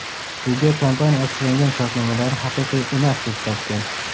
Sudya kompaniya asoslangan shartnomalarni haqiqiy emas, deb topgan.